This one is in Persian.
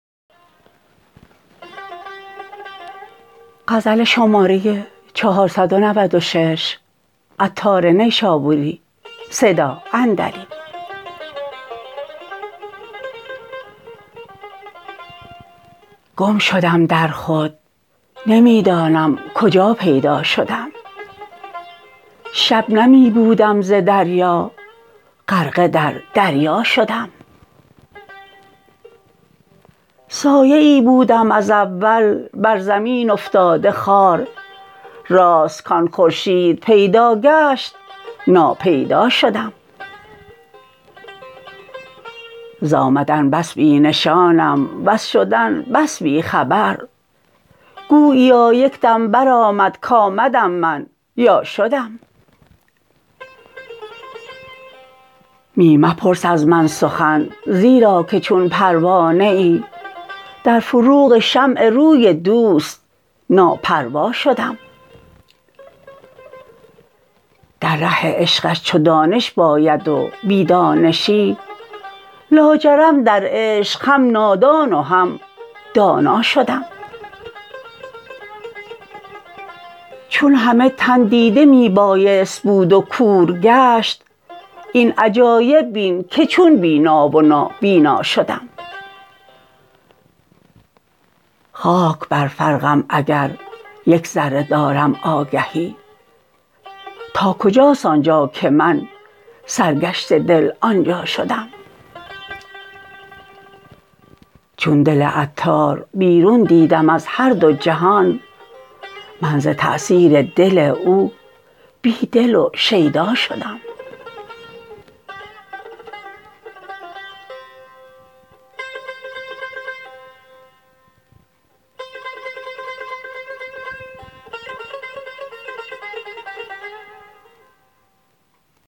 گم شدم در خود نمی دانم کجا پیدا شدم شبنمی بودم ز دریا غرقه در دریا شدم سایه ای بودم از اول بر زمین افتاده خوار راست کان خورشید پیدا گشت ناپیدا شدم زآمدن بس بی نشانم وز شدن بس بی خبر گوییا یکدم برآمد کامدم من یا شدم می مپرس از من سخن زیرا که چون پروانه ای در فروغ شمع روی دوست ناپروا شدم در ره عشقش چو دانش باید و بی دانشی لاجرم در عشق هم نادان و هم دانا شدم چون همه تن دیده می بایست بود و کور گشت این عجایب بین که چون بینا و نابینا شدم خاک بر فرقم اگر یک ذره دارم آگهی تا کجاست آنجا که من سرگشته دل آنجا شدم چون دل عطار بیرون دیدم از هر دو جهان من ز تأثیر دل او بی دل و شیدا شدم